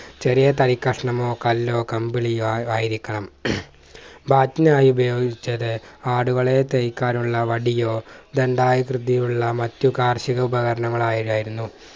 ചെറിയ തൈകഷ്ണമോ കല്ലോ കമ്പിളിയോ ആയി ആയിരിക്കണം bat നായി ഉപയോഗിച്ചത് ആടുകളെ തൈക്കാനുള്ള വടിയോ ദണ്ഡായി കൃതിയുള്ള മറ്റു കാർഷിക ഉപകരണങ്ങളോ ആയിയായതായിരുന്നു